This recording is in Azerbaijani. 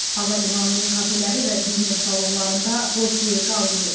Hava limanının kafeləri və biznes salonlarında boş yer qalmayıb.